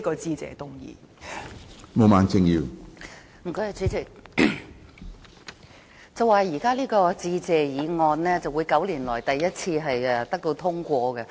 主席，有說法指這項致謝議案會是9年來首次獲得通過的致謝議案。